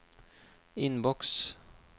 innboks